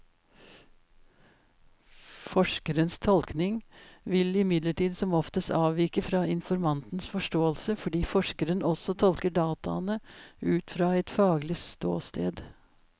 Forskerens tolkning vil imidlertid som oftest avvike fra informantens forståelse, fordi forskeren også tolker dataene ut fra et faglig ståsted.